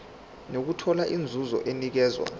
nokuthola inzuzo enikezwa